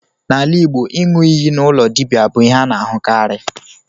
N'ala Igbo, iṅụ iyi n'ụlọ dibia bụ ihe a na-ahụkarị.